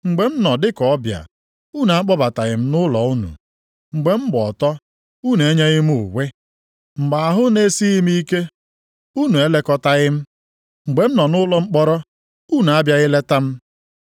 Mgbe m nọ dị ka ọbịa, unu akpọbataghị m nʼụlọ unu. Mgbe m gba ọtọ, unu enyeghị m uwe. Mgbe ahụ na-esighị m ike, unu elekọtaghị m. Mgbe m nọ nʼụlọ mkpọrọ, unu abịaghị leta m.’